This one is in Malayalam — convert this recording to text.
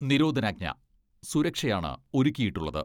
നിരോധനാജ്ഞ സുരക്ഷയാണ് ഒരുക്കിയിട്ടുള്ളത്.